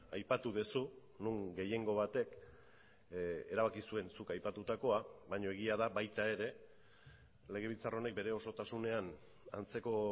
aipatu duzu non gehiengo batek erabaki zuen zuk aipatutakoa baina egia da baita ere legebiltzar honek bere osotasunean antzeko